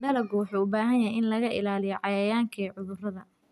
Dalaggu wuxuu u baahan yahay in laga ilaaliyo cayayaanka iyo cudurrada.